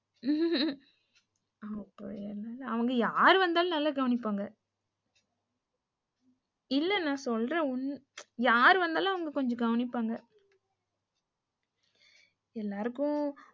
அவங்க யாரு வந்தாலும் நல்லா கவனிப்பாங்க இல்ல நா சொல்றேன் யாரு வந்தாலும் அவங்க கொஞ்சம் கவனிப்பாங்க எல்லாருக்கும்,